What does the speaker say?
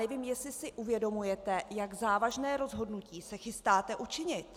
Nevím, jestli si uvědomujete, jak závažné rozhodnutí se chystáte učinit!